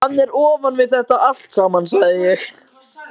Hann er ofan við þetta allt saman, sagði ég.